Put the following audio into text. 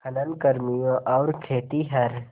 खनन कर्मियों और खेतिहर